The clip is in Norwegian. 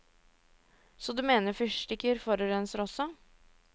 Så du mener fyrstikker forurenser også.